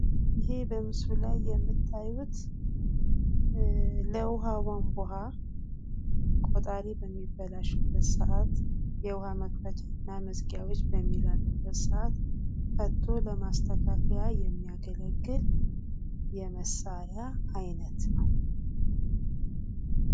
ይህ በምስሉ ላይ የምታዩት ለውሃ ቧንቡሃ ቆጣሪ በሚበላሽበት ስዓት የውሃ መክፈቻ ና መዝጊያዎች በሚላሉበት ስዓት ፈቶ ለማስተካከያ የሚያገለግል የመሳሪያ አይነት ነው።